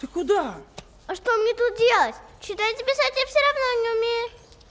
ты куда а что мне тут делать читать и писать я всё равно не умею